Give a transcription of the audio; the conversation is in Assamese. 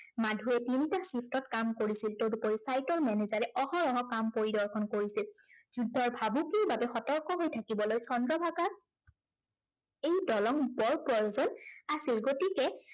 মাধুৱে তিনিটা sift ত কাম কৰিছিল। তদুপৰি sight ৰ manager এ অহৰহ কাম পৰিদৰ্শন কৰিছিল। যুদ্ধৰ ভাবুকিৰ বাবে সতৰ্ক হৈ থাকিবলৈ চন্দ্ৰভাগাৰ এই দলং বৰ প্ৰয়োজন আছিল। গতিকে